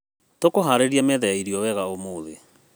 Tũkũharĩria metha ya irio wega ũmũthĩ.